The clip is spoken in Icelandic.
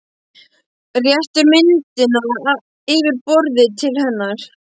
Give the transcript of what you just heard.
Réttir myndina yfir borðið til hennar.